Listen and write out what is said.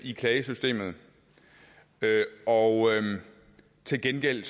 i klagesystemet og til gengæld